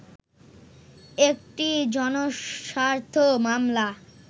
একটি জনস্বার্থ মামলা